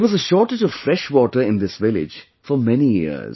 There was a shortage of fresh water in this village for many years